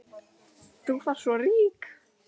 Þú varst svo rík.